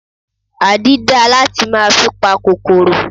Àdí dáa láti máa fi pa kòkòrò.